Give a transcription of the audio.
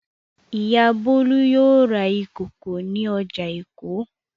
Ìyá Bólú yóò ra ìkòkò ní ọjà Èkó.